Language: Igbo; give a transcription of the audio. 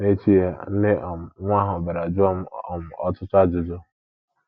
N’echi ya, nne um nwa ahụ bịara jụọ m um ọtụtụ ajụjụ.